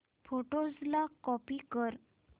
photos ला copy कर